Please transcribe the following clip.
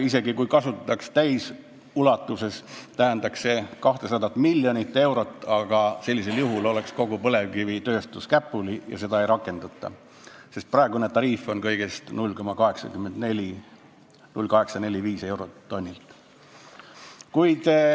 Isegi kui kasutataks täisulatuses, tähendaks see 200 miljonit eurot, aga sellisel juhul oleks kogu põlevkivitööstus käpuli ja seda ei rakendata, sest praegune tariif on kõigest 0,845 eurot tonnilt.